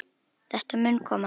Þetta mun koma.